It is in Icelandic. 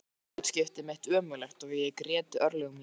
Mér þótti hlutskipti mitt ömurlegt og ég grét örlög mín.